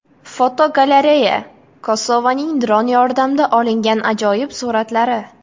Fotogalereya: Kosovaning dron yordamida olingan ajoyib suratlari.